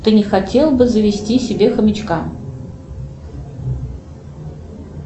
ты не хотел бы завести себе хомячка